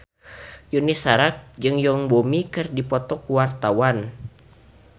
Yuni Shara jeung Yoon Bomi keur dipoto ku wartawan